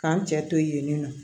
K'an cɛ to yen nɔ